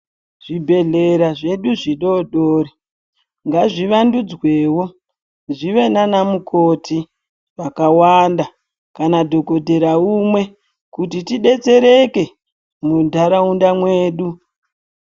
Zvibhehleya zvedu zvidodori ngazvi vandudzwewo zvive nana mukoti vakawanda kana dhokodhera umwe kuti tidetsereke mundaraunda yedu